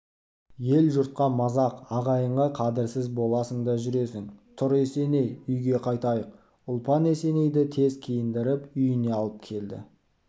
ел-жұртқа мазақ ағайынға қадірсіз боласың да жүресің тұр есеней үйге қайтайық ұлпан есенейді тез киіндіріп үйіне алып келді